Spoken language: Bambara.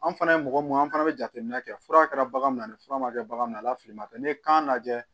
An fana ye mɔgɔ mun an fana bɛ jateminɛ kɛ fura kɛra bagan min ani fura ma kɛ bagan min na a la fili ma kɛ n'i ye kan lajɛ